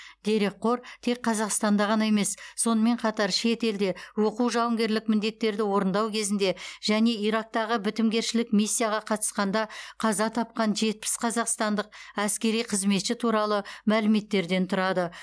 дерекқор тек қазақстанда ғана емес сонымен қатар шетелде оқу жауынгерлік міндеттерді орындау кезінде және ирактағы бітімгершілік миссияға қатысқанда қаза тапқан жетпіс қазақстандық әскери қызметші туралы мәліметтерден тұрады